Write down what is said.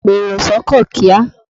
Pèrò s'ọ́kọ̀ kíá!